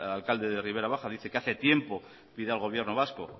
alcalde de ribera baja dice que hace tiempo pide al gobierno vasco